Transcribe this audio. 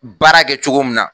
Baara kɛ cogo min na.